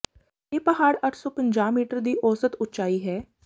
ਇਹ ਪਹਾੜ ਅੱਠ ਸੌ ਪੰਜਾਹ ਮੀਟਰ ਦੀ ਔਸਤ ਉਚਾਈ ਹੈ